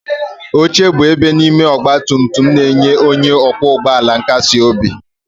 Oche bụ ebe n'ime ọgba tum tum na-enye onye ọkwọ ụgbọ ala nkasi obi.